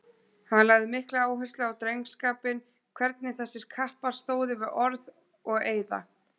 Hann lagði mikla áherslu á drengskapinn, hvernig þessir kappar stóðu við orð og eiða.